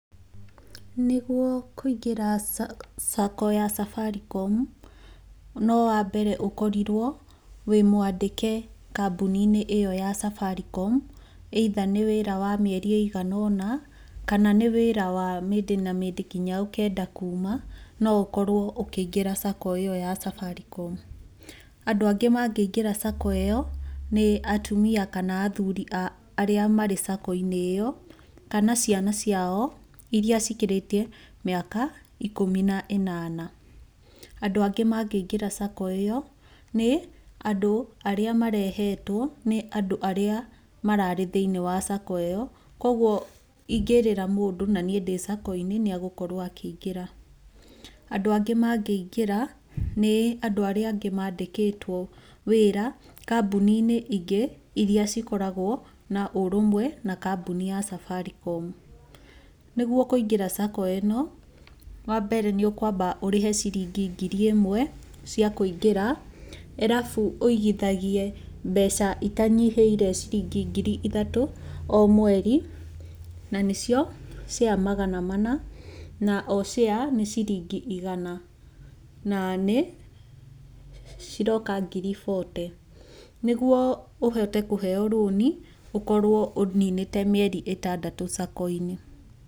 Nĩguo kũingĩra sacco ya Safaricom, no wambere ũkorirwo wĩ mwandĩke kambuni-inĩ ĩyo ya Safaricom either nĩ wĩra wa mĩeri ĩigana ũna kana nĩ wĩra wa mĩndĩ na mĩndĩ nginya ũkenda kuuma, no ũkorwo ũkĩingĩra sacco ĩyo ya Safaricom. Andũ angĩ mangĩingĩra sacco ĩyo nĩ atumia kana athuri a arĩa marĩ sacco ĩyo kana ciana ciao irĩa cikĩrĩtie mĩaka ikũmi na ĩnana. Andũ angĩ mangĩingĩra sacco ĩyo, nĩ andũ arĩa marehetwo nĩ andũ arĩa mararĩ thĩiniĩ wa sacco ĩyo. Koguo ingĩrĩra mũndũ na niĩ ndĩ sacco inĩ nĩ agũkorwo akĩingĩra. Andũ angĩ mangĩingĩra, nĩ andũ arĩa angĩ maandĩkĩtwo wĩra kambuni-inĩ ingĩ irĩa cikoragwo na ũrũmwe na kambuni ya Safaricom. Nĩguo kũingĩra sacco ĩno, wa mbere nĩ ũkwamba ũrĩhe ngiri ĩmwe cia kũingĩra arabu, ũigithagie mbeca itanyihĩire ciringi ngiri ithatũ o mweri. Na nĩcio share magana mana, na o share nĩ ciringi igana, na nĩ ciroka ngiri fourty. Nĩguo ũhote kũheyo rũni, ũkorwo ũninĩte mĩeri ĩtandatũ sacco-inĩ.